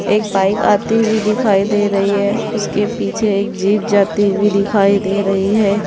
एक बाइक आती हुई दिखाई दे रही है उसके पीछे एक जीप जाती हुई दिखाई दे रही है।